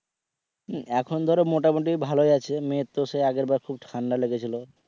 এখন ধরো মোটামুটি ভালই আছে মেয়ে তো ধরো আগের বার খুব ঠান্ডা লেগেছিল।